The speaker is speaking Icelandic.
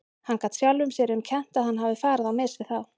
Hann gat sjálfum sér um kennt að hann hafði farið á mis við þá.